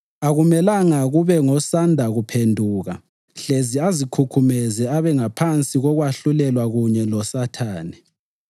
Akumelanga kube ngosanda kuphenduka hlezi azikhukhumeze abe ngaphansi kokwahlulelwa kunye loSathane.